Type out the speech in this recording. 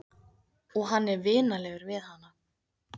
Og hann er vinalegur við hana.